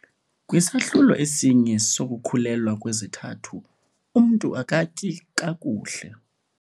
Kwisahlulo esinye sokukhulelwa kwezithathu, umntu akatyi kakuhle.